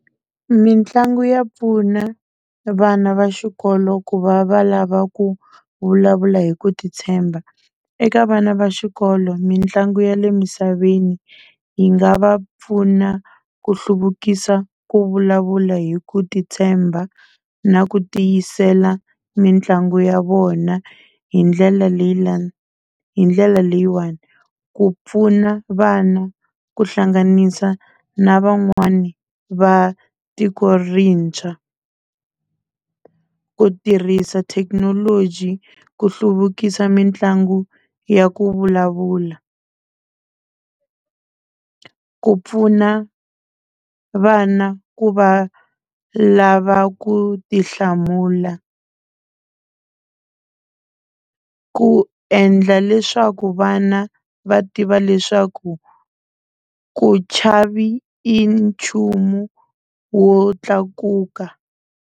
Mitlangu ya pfuna vana va xikolo ku va va lava ku vulavula hi ku titshemba eka vana va xikolo mitlangu ya le misaveni yi nga va pfuna ku hluvukisa ku vulavula hi ku titshemba na ku tiyisela mitlangu ya vona hi ndlela leyi la hi ndlela leyiwani ku pfuna vana ku hlanganisa na van'wani va tiko rintshwa ku tirhisa thekinoloji ku hluvukisa mitlangu ya ku vulavula ku pfuna vana ku va lava ku ti hlamula ku endla leswaku vana va tiva leswaku ku chavi i nchumu wo tlakuka.